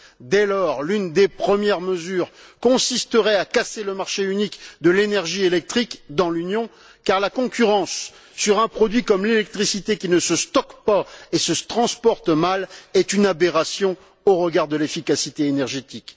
Dès lors, l'une des premières mesures consisterait à casser le marché unique de l'énergie électrique dans l'Union car la concurrence sur un produit comme l'électricité, qui ne se stocke pas et se transporte mal, est une aberration au regard de l'efficacité énergétique.